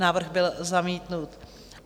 Návrh byl zamítnut.